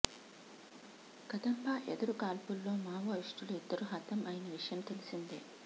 కదంబా ఎదురు కాల్పుల్లో మావోయిస్టులు ఇద్దరు హతం అయిన విషయం తెలిసిందే